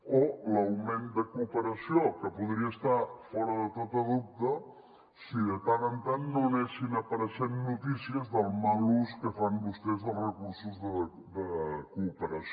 o l’augment de cooperació que podria estar fora de tot dubte si de tant en tant no anessin apareixent notícies del mal ús que fan vostès dels recursos de cooperació